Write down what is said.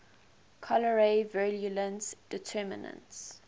cholerae virulence determinants